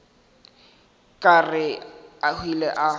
ka re a hwile a